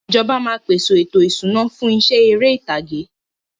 Ìjọba máa peṣe ètò ìṣúná fún iṣẹ́ ère ìtàgé.